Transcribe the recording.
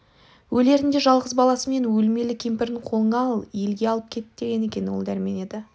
өлерінде жалғыз баласы мен өлмелі кемпірін қолыңа ал елге алып кет деген екен ол дәрмен еді